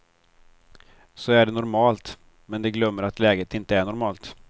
Så är det normalt, men de glömmer att läget inte är normalt.